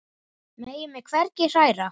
Megi mig hvergi hræra.